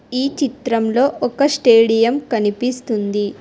ఈ చిత్రంలో ఒక స్టేడియం కనిపిస్తుంది.